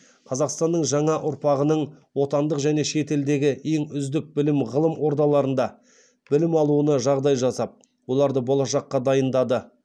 қазақстанның жаңа ұрпағының отандық және шетелдегі ең үздік білім ғылым ордаларында білім алуына жағдай жасап оларды болашаққа дайындады